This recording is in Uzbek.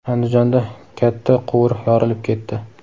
Andijonda katta quvur yorilib ketdi.